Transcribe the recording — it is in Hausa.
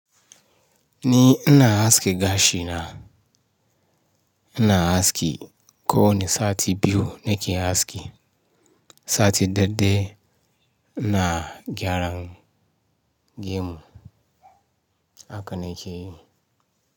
Ni ina haski gashi na, ina haski ko wani sati biyu nake haski. Sati daɗai ina gyaran gemu haka nake yi.